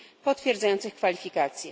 potwierdzających kwalifikacje.